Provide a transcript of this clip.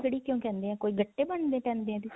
ਕੜੀ ਕਿਉਂ ਕਹਿੰਦੇ ਹੈ ਕੋਈ ਗੱਟੇ ਬੰਨਣੇ ਪੈਂਦੇ ਹੈ ਇਹਦੇ ਚ